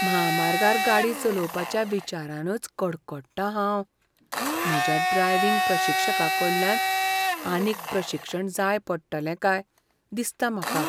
म्हामार्गार गाडी चलोवपाच्या विचारानच कडकडटां हांव, म्हज्या ड्रायव्हिंग प्रशिक्षकाकडल्यान आनीक प्रशिक्षण जाय पडटलें काय दिसता म्हाका.